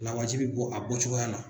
Lawaji bi bɔ a bɔcogoya la.